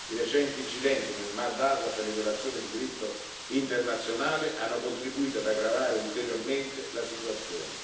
I recenti incidenti nel Mar d'Azov e le violazioni del diritto internazionale hanno contribuito ad aggravare ulteriormente la situazione.